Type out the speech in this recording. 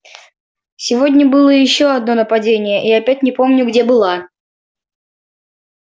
сегодня было ещё одно нападение и я опять не помню где была